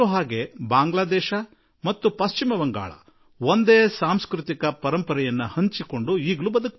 ಬಾಂಗ್ಲಾ ದೇಶ ಹಾಗೂ ಪಶ್ಚಿಮ ಬಂಗಾಳ ಎರಡೂ ಒಂದೇ ಸಾಂಸ್ಕೃತಿಕ ಪರಂಪರೆಯನ್ನು ಹೊಂದಿ ಇಂದಿಗೂ ಬದುಕಿವೆ ಎಂಬುದು ನಮಗೆ ಗೊತ್ತು